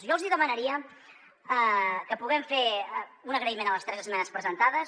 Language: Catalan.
jo els hi demanaria que puguem fer un agraïment a les tres esmenes presentades